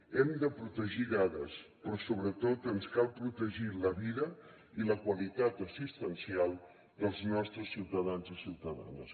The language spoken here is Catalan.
hem de protegir dades però sobretot ens cal protegir la vida i la qualitat assistencial dels nostres ciutadans i ciutadanes